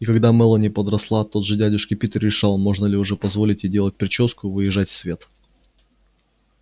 и когда мелани подросла тот же дядюшка питер решал можно ли уже позволить ей делать причёску и выезжать в свет